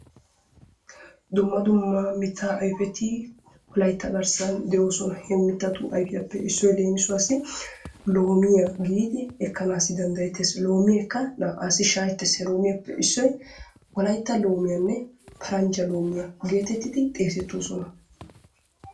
Dumma dumma mittaa ayfeti Wolaytta garssan de'oosona. He mittatu ayfetuppe issoy leem, loomiya giidi ekkanaassi danddayettees. Loomiyakka naa"aassi shaakettees. He loomeekka paranjja loomiyanne wolaytta loomiya geetetti xeesettoosona.